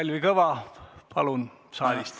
Kalvi Kõva, palun!